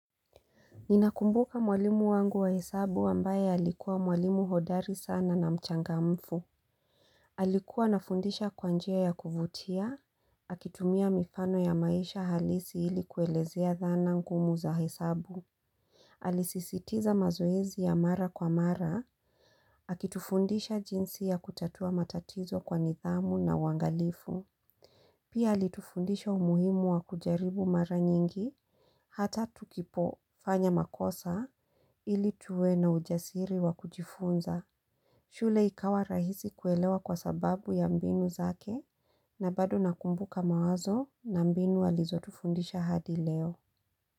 Ninakumbuka mwalimu wangu wa hesabu ambaye alikuwa mwalimu hodari sana na mchangamfu. Alikuwa anafundisha kwa njia ya kuvutia. Akitumia mifano ya maisha halisi ili kuelezea dhana ngumu za hesabu. Alisisitiza mazoezi ya mara kwa mara. Akitufundisha jinsi ya kutatua matatizo kwa nidhamu na uangalifu. Pia alitufundisha umuhimu wa kujaribu mara nyingi. Hata tukipo fanya makosa ili tuwe na ujasiri wa kujifunza. Shule ikawa rahisi kuelewa kwa sababu ya mbinu zake na bado nakumbuka mawazo na mbinu alizotufundisha hadi leo.